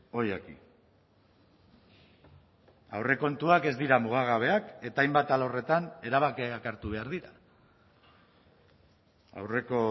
hoy aquí aurrekontuak ez dira mugagabeak eta hainbat alorretan erabakiak hartu behar dira aurreko